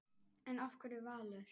En af hverju Valur?